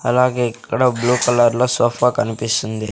అలాగే ఇక్కడ blue colour లో సోఫా కనిపిస్తుంది.